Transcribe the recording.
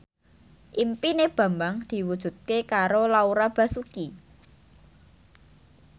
impine Bambang diwujudke karo Laura Basuki